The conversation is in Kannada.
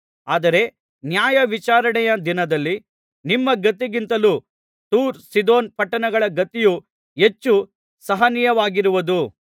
ಆದರೆ ನ್ಯಾಯವಿಚಾರಣೆಯ ದಿನದಲ್ಲಿ ನಿಮ್ಮ ಗತಿಗಿಂತಲೂ ತೂರ್ ಸೀದೋನ್ ಪಟ್ಟಣಗಳ ಗತಿಯು ಹೆಚ್ಚು ಸಹನೀಯವಾಗಿರುವುದು